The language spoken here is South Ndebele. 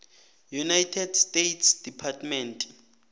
united states department